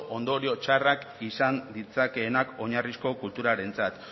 ondorio txarrak izan ditzakeenak oinarrizko kulturarentzat